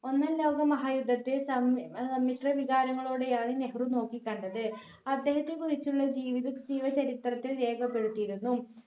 ഒന്നാം ലോക മഹാ യുദ്ധത്തിൽ സമ്മ്‌ ഏർ സംമിത്ര വികാരങ്ങളോടെയാണ് നെഹ്‌റു നോക്കികണ്ടത് അദ്ദേഹത്തെ കുറിച്ചുള്ള ജീവിത ജീവചരിത്രത്തിൽ രേഖപ്പെടുത്തിയിരുന്നു.